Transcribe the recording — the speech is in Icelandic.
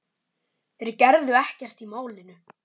Þeir gerðu ekkert í málinu.